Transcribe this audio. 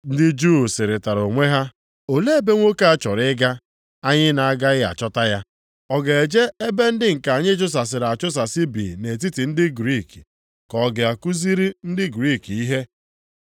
Ndị Juu sịrịtara onwe ha, “Olee ebe nwoke a chọrọ ịga anyị na-agaghị achọta ya? Ọ ga-eje ebe ndị nke anyị a chụsasịrị achụsasị bi nʼetiti ndị Griik, ka ọ ga kuziere ndị Griik ihe?